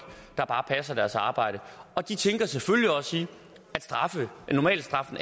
der bare passer deres arbejde og de tænker selvfølgelig også i at normalstraffen